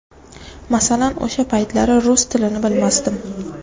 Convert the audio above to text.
Masalan, o‘sha paytlari rus tilini bilmasdim.